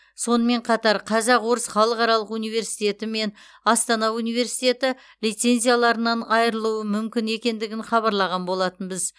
сонымен қатар қазақ орыс халықаралық университеті мен астана университеті лицензияларынан айырылуы мүмкін екендігін хабарлаған болатынбыз